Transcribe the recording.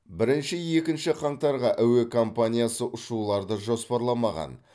бірінші екінші қаңтарға әуе компаниясы ұшуларды жоспарламаған